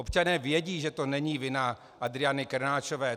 Občané vědí, že to není vina Adriany Krnáčové.